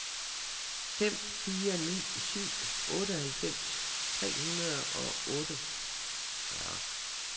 fem fire ni syv otteoghalvfems tre hundrede og otteogfyrre